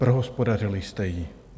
Prohospodařili jste ji.